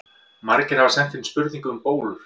Margir hafa sent inn spurningu um bólur.